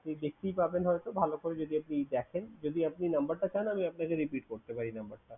আপনি দেখতেই পাবেন হয়তো ভালো করে যদি আপনি দেখেন। যদি আপনি number টা চান, আমি আপনাকে repeat করতে পারি number টা।